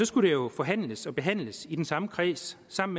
skulle det jo forhandles og behandles i den samme kreds som